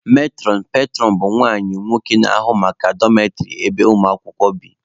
Metụrọn/petụrọn bụ nwanyị/nwoke na-ahụ maka dọmetrị ebe ụmụ akwụkwọ bi.